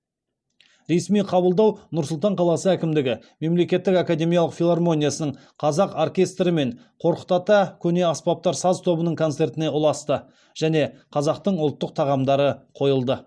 ресми қабылдау нұр сұлтан қаласы әкімдігі мемлекеттік академиялық филармониясының қазақ оркестрі мен қорқыт ата көне аспаптар саз тобының концертіне ұласты және қазақтың ұлттық тағамдары қойылды